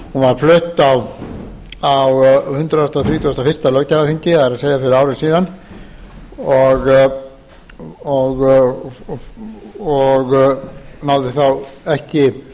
tillaga var flutt á hundrað þrítugasta og fyrsta löggjafarþingi það er fyrir ári síðan og náði þá ekki